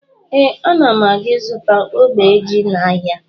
Ee, ana m aga izụta ogbe ji n'ahịa